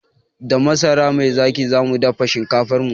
Da masara mai zaƙi zamu dafa shinkafarmu